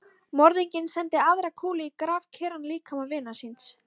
Morðinginn sendi aðra kúlu í grafkyrran líkama vinar síns.